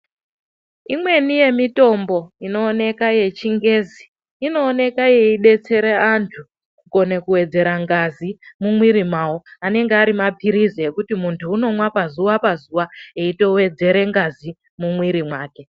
Imweni yemitombo inooneka yechingezi, inooneka ichidetsera antu kugone kuwedzera ngazi mumwiri mawo. Anenge arimaphirizi ekuti muntu unomwa pazuwa pazuwa, eitowedzere ngazi mumwiri make.